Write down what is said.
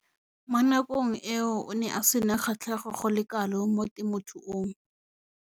Mo nakong eo o ne a sena kgatlhego go le kalo mo temothuong.